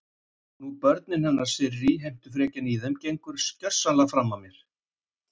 Nú börnin hennar Sirrý, heimtufrekjan í þeim gengur gersamlega fram af mér.